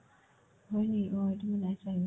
অ, হয় নেকি সেইটো মই নাই চোৱা সেইবিলাক